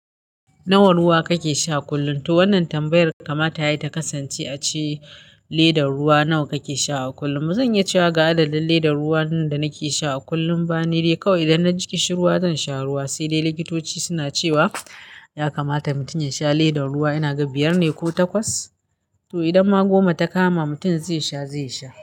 Nawa ruwa kake sha kullum? To wannan tambayar kamata yayi ta kasance a ce ledar ruwa nawa kake sha a kullum. Ba zan iya cewa ga adadin ledar ruwa da nake sha a kullum ba, ni dai kawai idan na ji koshin ruwa zan sha ruwa. Sai dai likitoci suna cewa ya kamata mutum ya sha ledar ruwa, inaga biyar ne ko takwas? To idan ma goma ta kama mutum zai sha, zai sha.